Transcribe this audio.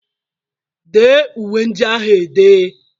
Dee uwe ndị ahụ e dee!